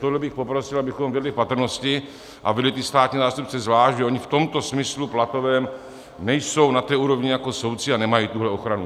Tohle bych poprosil, abychom vedli v patrnosti a vedli ty státní zástupce zvlášť, že oni v tom smyslu platovém nejsou na té úrovni jako soudci a nemají tuhle ochranu.